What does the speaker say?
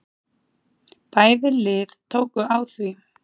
Bæði lið tóku á því.